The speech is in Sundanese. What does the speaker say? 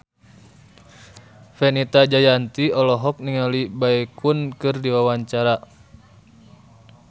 Fenita Jayanti olohok ningali Baekhyun keur diwawancara